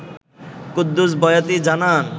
কুদ্দুস বয়াতি জানান